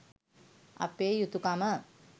අපේ යුතුකම.